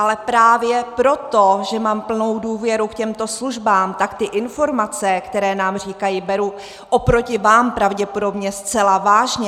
Ale právě proto, že mám plnou důvěru k těmto službám, tak ty informace, které nám říkají, beru oproti vám pravděpodobně zcela vážně.